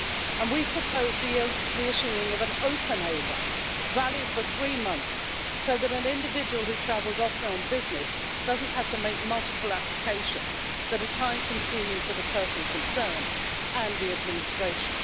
and we've proposed the issuing of an open A1, valid for three months, so that an individual who travels often on business doesn't have to make multiple applications that are time consuming for the person concerned and the administration.